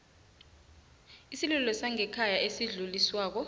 isililo sangekhaya esidluliswako